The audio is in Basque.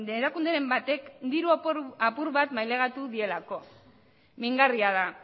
erakunderen batek diru apur bat mailegatu dielako mingarria da